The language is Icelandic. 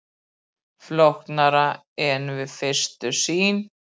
Flóknara en við fyrstu sýn